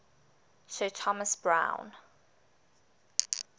sir thomas browne